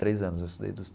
Três anos, eu estudei dos.